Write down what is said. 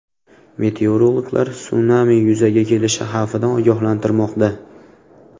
Meteorologlar sunami yuzaga kelishi xavfidan ogohlantirmoqda.